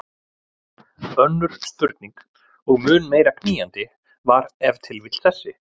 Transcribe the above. Önnur spurning og mun meira knýjandi var ef til vill þessi